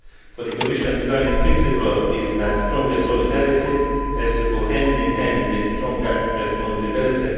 For the Commission the guiding principle is that stronger solidarity has to go hand in hand with stronger responsibility.